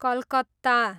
Calcutta